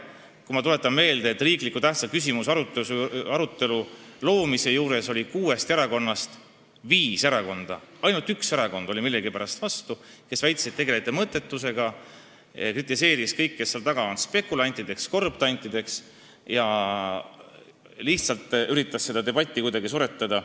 Kui ma meelde tuletan, siis selleteemalise oluliselt tähtsa riikliku küsimuse aruteluga oli nõus kuuest erakonnast viis, ainult üks erakond oli millegipärast vastu ja väitis, et te tegelete mõttetusega, kritiseeris kõiki, kes selle taga on, nimetades asjaosalisi spekulantideks ja korruptantideks ning lihtsalt üritades debatti kuidagi välja suretada.